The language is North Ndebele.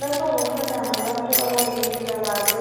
Lapha kukhanya ngabantu abazempilakahle.